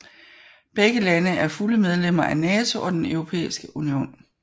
Begge lande er fulde medlemmer af NATO og Den Europæiske Union